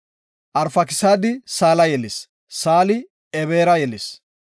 Arfakisaadi Saala yelis. Saali Eboora yelis.